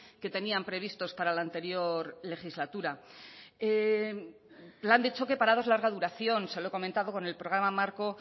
que tenían previstos para la anterior legislatura plan de choque parados larga duración se lo he comentado con el programa marco